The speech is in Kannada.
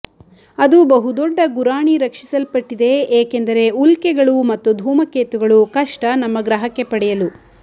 ಅದು ಬಹುದೊಡ್ಡ ಗುರಾಣಿ ರಕ್ಷಿಸಲ್ಪಟ್ಟಿದೆ ಏಕೆಂದರೆ ಉಲ್ಕೆಗಳು ಮತ್ತು ಧೂಮಕೇತುಗಳು ಕಷ್ಟ ನಮ್ಮ ಗ್ರಹಕ್ಕೆ ಪಡೆಯಲು